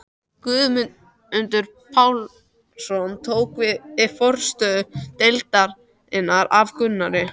Guðmundur Pálmason tók við forstöðu deildarinnar af Gunnari.